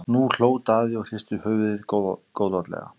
Nú hló Daði og hristi höfuðið góðlátlega.